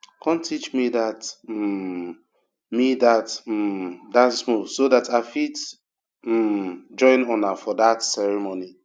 come teach me dat um me dat um dance moves so dat i fit um join una for dat ceremony